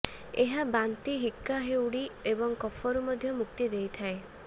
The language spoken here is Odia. ଏହା ବାନ୍ତି ହିକ୍କା ହେଉଡ଼ି ଏବଂ କଫରୁ ମଧ୍ୟ ମୁକ୍ତି ଦେଇଥାଏ